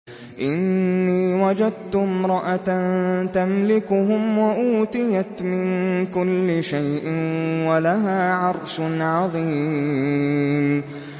إِنِّي وَجَدتُّ امْرَأَةً تَمْلِكُهُمْ وَأُوتِيَتْ مِن كُلِّ شَيْءٍ وَلَهَا عَرْشٌ عَظِيمٌ